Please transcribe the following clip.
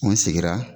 An sigira